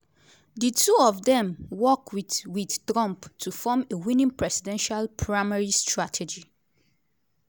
di two of dem work wit wit trump to form a winning presidential primary strategy.